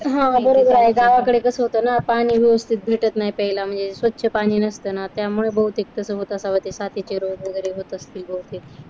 हा बरोबर आहे. गावाकडे कसं होतं ना पाणी व्यवस्थित भेटत नाही. प्यायला म्हणजे स्वच्छ पाणी नसत ना त्यामुळे बहुतेक तसं होतं असावं साथीचे रोग वगैरे होत असतील बहूतेक